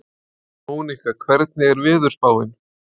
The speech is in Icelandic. Amfetamínið fannst síðar í eldsneytisgeymi bílsins